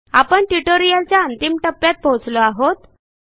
आपण ट्युटोरियलच्या अंतिम टप्प्यात पोहोचलो आहोत